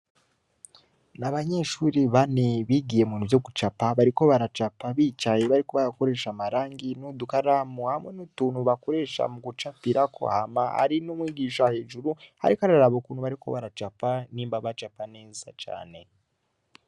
Abanyeshure bane bigiye mubintu vyo gucapa , bariko baracapa bicaye bariko barakoresha amarangi n’udukaramu hamwe n’utuntu bakoresha mugucapirako hama hari n’umwigisha hejuru arik’araraba ukuntu bariko baracapa nimba bacapa neza cane .